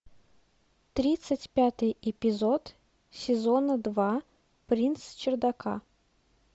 тридцать пятый эпизод сезона два принц чердака